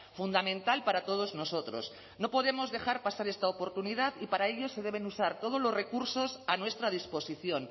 fundamental para todos nosotros no podemos dejar pasar esta oportunidad y para ello se deben usar todos los recursos a nuestra disposición